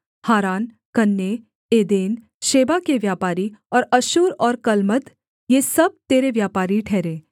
हारान Canneh Eden Sheba के व्यापारी और अश्शूर और कलमद ये सब तेरे व्यापारी ठहरे